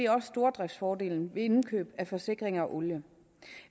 også stordriftsfordelen ved indkøb af forsikringer og olie